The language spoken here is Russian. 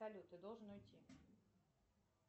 салют ты должен уйти